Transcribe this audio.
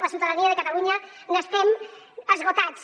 la ciutadania de catalunya n’estem esgotats